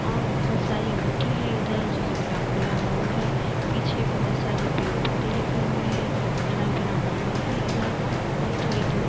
और बहुत सारी मिट्टी है इधर से जो कि खुला खुला ग्राउंड है पीछे बहुत सारे पेड़ पौधे लगे हुए हैं हरा भरा माहौल है। इधर और थोड़ी धूप --